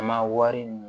An ma wari ɲini